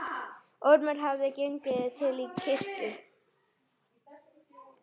Ormur hafði gengið til kirkju.